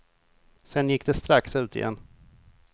Sen gick de strax ut igen.